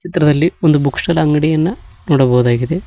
ಚಿತ್ರದಲ್ಲಿ ಒಂದು book store ಅಂಗಡಿಯನ್ನ ನೋಡಬಹುದಾಗಿದೆ.